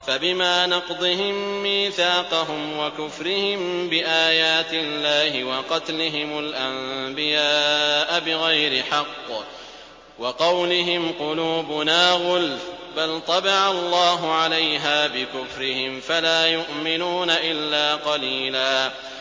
فَبِمَا نَقْضِهِم مِّيثَاقَهُمْ وَكُفْرِهِم بِآيَاتِ اللَّهِ وَقَتْلِهِمُ الْأَنبِيَاءَ بِغَيْرِ حَقٍّ وَقَوْلِهِمْ قُلُوبُنَا غُلْفٌ ۚ بَلْ طَبَعَ اللَّهُ عَلَيْهَا بِكُفْرِهِمْ فَلَا يُؤْمِنُونَ إِلَّا قَلِيلًا